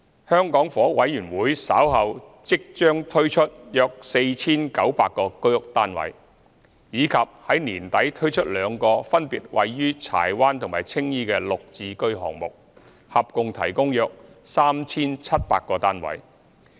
香港房屋委員會稍後將推出約 4,900 個居屋單位，以及在年底推出兩個分別位於柴灣和青衣的"綠置居"項目，合共提供約 3,700 個單位。